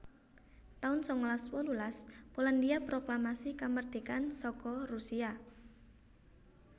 taun sangalas wolulas Polandhia proklamasi kamardikan saka Rusia